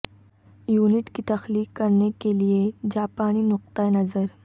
unit کی تخلیق کرنے کے لئے جاپانی نقطہ نظر